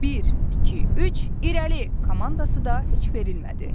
Bir, iki, üç, irəli komandası da heç verilmədi.